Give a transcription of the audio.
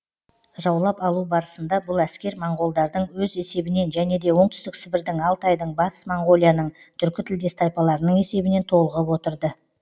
жаулап алу барысында бұл әскер моңғолдардың өз есебінен және де оңтүстік сібірдің алтайдың батыс моңғолияның түркі тілдес тайпаларының есебінен толығып отырды